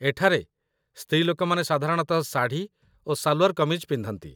ଏଠାରେ, ସ୍ତ୍ରୀଲୋକମାନେ ସାଧାରଣତଃ ଶାଢ଼ୀ ଓ ସାଲ୍‌ୱାର୍ କମିଜ ପିନ୍ଧନ୍ତି